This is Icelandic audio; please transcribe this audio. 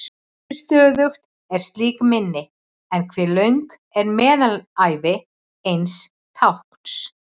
Hversu stöðugt er slíkt minni, eða hve löng er meðalævi eins tákns?